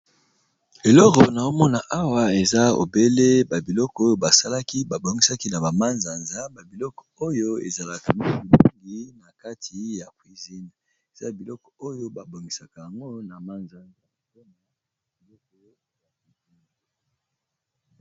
Eloko na omona awa eza obele ba biloko oyo ba salaki ba bongisaki na ba mazanza, ba biloko oyo ezalaka mingi mingi na kati ya cuisine eza biloko oyo ba bongisaka yango na manzanza...